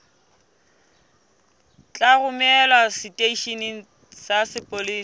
tla romelwa seteisheneng sa mapolesa